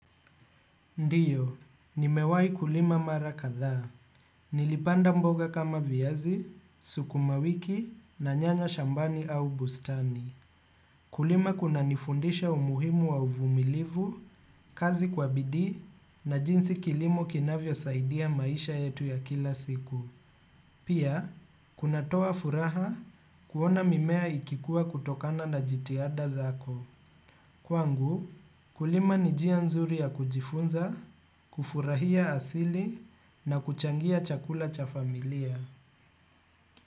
Ndio, nimewahi kulima mara kadhaa. Nilipanda mboga kama viazi, suku mawiki na nyanya shambani au bustani. Kulima kunanifundisha umuhimu wa uvumilivu, kazi kwa bidii na jinsi kilimo kinavyosaidia maisha yetu ya kila siku. Pia, kunatoa furaha kuona mimea ikikuwa kutokana na jitihada zako. Kwangu kulima ni njia nzuri ya kujifunza kufurahia asili na kuchangia chakula cha familia.